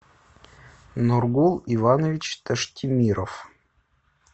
нургул иванович таштемиров